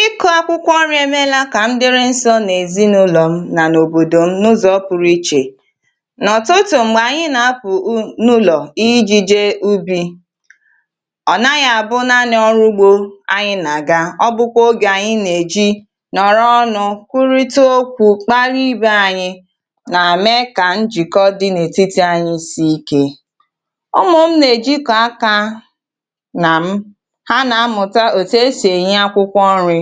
Ịkụ akwụkwọ nri emeela ka ndịrị nsọ n’ezinụlọ m na n’obodo m n’ụzọ pụrụ iche. N’ọtụtụ mgbe anyị na-apụ ụ n’ụlọ iji jee ubi, ọ naghị abụ naanị ọrụ ugbo anyị na-aga, ọ bụ kwa oge anyị na-eji nọrọ ọnụ, kwurita okwu, kpalị ibe anyị, na-eme ka njikọ dị n’etiti anyị siike. Ụmụ m na-ejikọ aka na m, ha na-amụta òtù esì eyi akwụkwọ nri,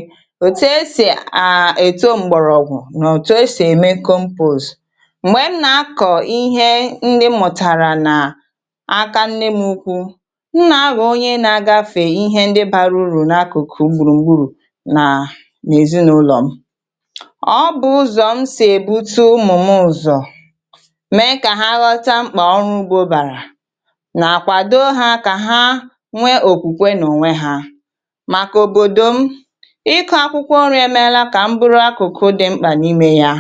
òtù esì à èto mgbọrọgwụ na òtù esì ème compose. Mgbè m na-akọ ihe ndị m mụtara na aka nne nwukwu, m na-aghọ onye na-agafè ihe ndị bara urù n’akụkụ gbùrùgburù na n’ezinụlọ m. Ọ bụ ụzọ m sì èbutu ụmụmụ ụzọ mee kà ha ghọta mkpa ọrụ gbu bàrà na àkwàdo ha kà ha nwee òkwùkwe n’ònwe ha. Maka obodo m, ịkọ akwụkwọ nri emeela kà mbụrụ akụkụ dị mkpa n’ime ya,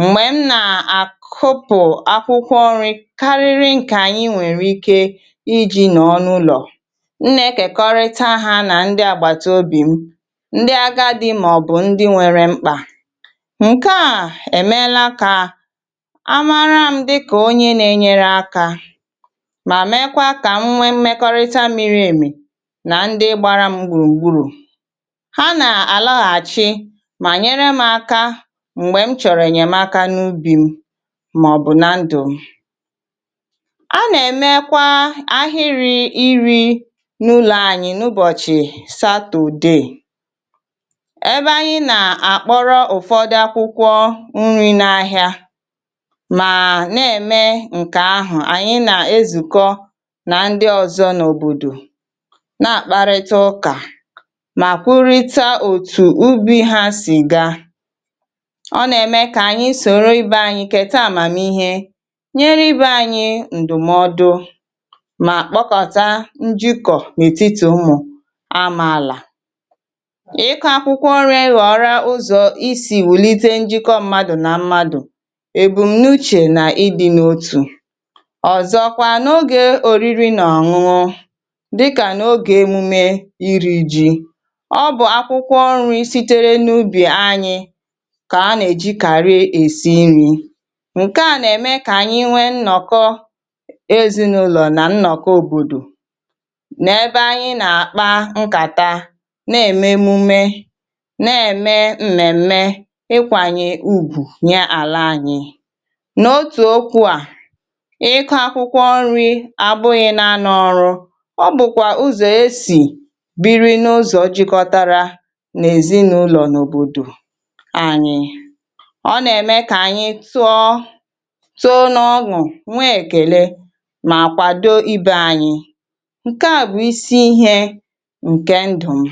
mgbè m na-àkọpụ akwụkwọ nri karịrị nke anyị nwere ike iji nọ n’ụlọ, m na-ekèkọrịta ha na ndị àgbàtàobì m, ndị agadi ma ọ bụ ndị nwere mkpa, nke à èmela kà amara m dị kà onye na-enyere aka ma mekwa kà m nwe mmekọrịta mịrị emè na ndị gbara m gbùrùgburù. Ha na alaghàchì ma nyere m aka mgbè m chọrọ ènyèmaka n’ubì m ma ọ bụ na ndụ m. A na-èmekwa ahịrị iri n’ụlọ anyị n’ụbọchị satọdè, ebe anyị na-àkpọrọ ụfọdụ akwụkwọ nri n’ahịa ma na-eme nke ahụ, anyị na-ezùkọ na ndị ọzọ n’òbòdò na-àkparịta ụkà na àkwụrịta òtù ubi ha sì gaa. Ọ na-eme kà anyị sòrò ibe anyị kèta àmàmihe, nyere ibe anyị ndụmọdụ ma kpọkọta njikọ n’etiti ụmụ amaala. Ịkọ akwụkwọ nri ghọọra ụzọ isi wùlite njikọ mmadụ na mmadụ, èbumnuche na ịdị n’otù, ọzọkwa n’ogè òriri na ọṅụṅụ dịkà n’ogè emume iri ji, ọ bụ akwụkwọ nri sitere n’ubì anyị kà a na-eji kàri èsi nri, nke à na-eme kà anyị nwe nnọkọ ezinụlọ na nnọkọ òbòdò na-ebe anyị na-àkpa nkàta, na-eme emume, na-eme mmèmme, ịkwànye ugwù nye ala anyị, n’otu okwu a, ịkụ akwụkwọ nri àgbụghị na anọ ọrụ, ọ bụkwa ụzọ esi biri n’ụzọ jikotara n’ezinụlọ n’òbòdò anyị, ọ na-eme kà anyị tụọ tọọ n’ọnụ nwee ekèle ma kwado ibe anyị, nke a bụ isi ihe nke ndụ m.